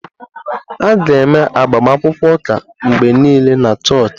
A ga-eme agbamakwụkwọ ụka mgbe niile na chọọchị.